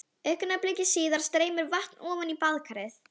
Ef það skortir minnkar kalsíummagn blóðsins en fosfórmagnið eykst.